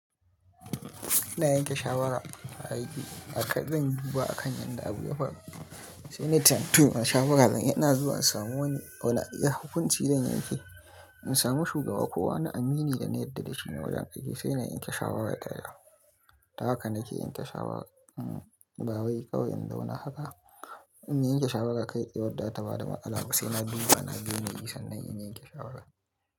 Ina yanke shawara a aiki, a ƙarshe zanyi akan yadda abu ya faru, sai na tuntuɓi manya shawara. Zan yana zuwa in samu wani, wani hakunci slzan yanke, in samu shugaba ko wani amini da na yarda da shi ne wajen kai shi, sai na yanke shawara ya taya. Haka nake yanke shawara. Ba wai kawai in zauna haka. In yanke shawara kaitsaye yadda ta ba da ma'alaka, sai na guba na gane isan nan in yanke shawara.